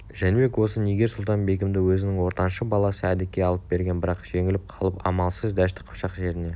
жәнібек осы нигер-сұлтан-бегімді өзінің ортаншы баласы әдікке алып берген бірақ жеңіліп қалып амалсыз дәшті қыпшақ жеріне